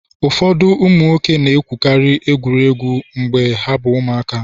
ụfọdụ ụmụ nwoke na-enwekarị egwuregwu mgbe ha bụ ụmụaka